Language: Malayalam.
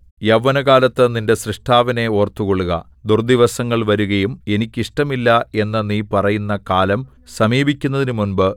യൗവനകാലത്ത് നിന്റെ സ്രഷ്ടാവിനെ ഓർത്തുകൊള്ളുക ദുർദ്ദിവസങ്ങൾ വരുകയും എനിക്ക് ഇഷ്ടമില്ല എന്ന് നീ പറയുന്ന കാലം സമീപിക്കുന്നതിന് മുമ്പ്